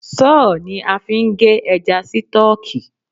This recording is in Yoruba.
Sọ́ọ̀ ni a fi ń gé ẹja sítọ̀ọ̀kù